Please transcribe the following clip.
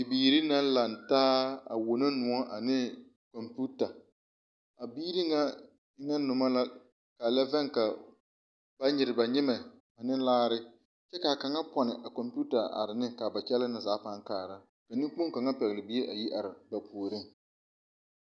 Bibiire na laŋtaa a wono nuo ane komputa. A biire ŋa eŋne numa la ka lɛ vɛŋ ka ba nyire ba nyimɛ ane laare. Kyɛ ka kanga ponne a komouta are ne ka ba kyɛlɛ ne zaa paaŋ kaara. Ka nekpong kanga pɛgle bie a yi are ba pooreŋ.